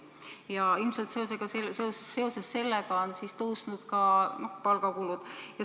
Ja ilmselt seoses sellega on tõusnud ka palgakulud.